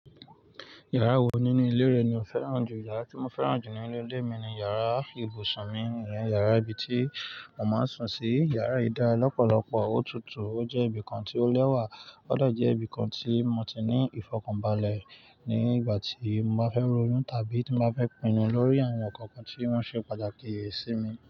Yàrá wo nínú ilé rẹ ni o fẹ́ràn jù? Yàrá tí mo fẹ́ràn jù ní inú ilé mi ni yàrá ibùsùn mi, ìyẹn yàrá ibi tí mo máa ń sùn sí. Yàrá yìí dá lọ́pọ̀lọpọ̀, ó tutù, ó jẹ́ ibìkan tí ó lẹ́wà, ó dẹ̀ jẹ́ ibìkan tí mo ti ní ìfọ̀kànbalẹ̀ nígbà tí mo bá fẹ́ ronú tàbí tí mo bá fẹ́ pinnu lórí àwọn nǹkan kan tí wọ́n ṣe pàtàkì sí mi.